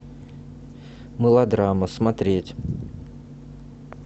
мылодрама смотреть